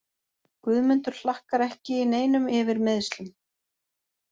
Guðmundur Hlakkar ekki í neinum yfir meiðslum.